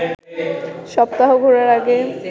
সপ্তাহ ঘোরার আগে